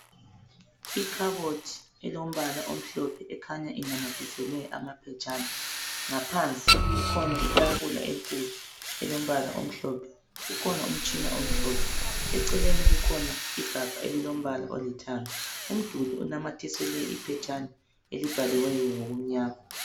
Ikhabothi elombala omhlophe ekhanya inamathiselwe amaphetshana. Ngaphansi kukhona itafula enkulu, elombala omhlophe. Kukhona umtshina omhlotshana. Eceleni kukhona igamba ililombala olithanga. Umduli onamathiselwe iphetshana ilibhaliweyo ngokumnyama.